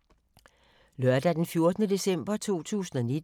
Lørdag d. 14. december 2019